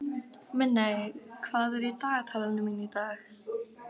Minney, hvað er í dagatalinu mínu í dag?